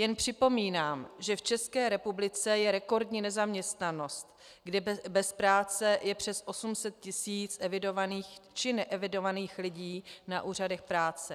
Jen připomínám, že v České republice je rekordní nezaměstnanost, kdy bez práce je přes 800 tis. evidovaných či neevidovaných lidí na úřadech práce.